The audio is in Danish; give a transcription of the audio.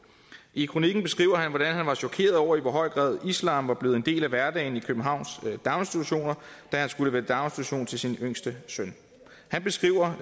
i kronikken beskriver han hvordan han var chokeret over i hvor høj grad islam var blevet en del af hverdagen i københavns daginstitutioner da han skulle vælge daginstitution til sin yngste søn han beskriver